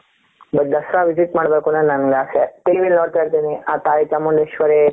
but Dasara visit ಮಾಡಬೇಕು ಅನ್ನೋದು ನನ್ನ ಆಸೆ TVಯಲ್ಲಿ ನೋಡ್ತಾ ಇರ್ತೀನಿ ಆ ತಾಯಿ ಚಾಮುಂಡೇಶ್ವರಿ.